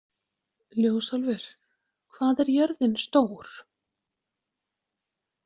Ljósálfur, hvað er jörðin stór?